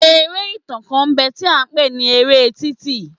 Eré ìtàn kan ń bẹ tí a ń pè ní eré títì.